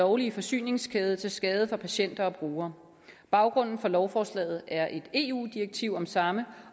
lovlige forsyningskæde til skade for patienter og brugere baggrunden for lovforslaget er et eu direktiv om samme